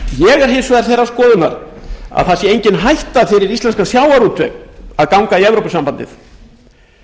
er hins vegar þeirrar skoðunar að það sé engin hætta fyrir íslenskan sjávarútveg að ganga í evrópusambandið ef ég skoða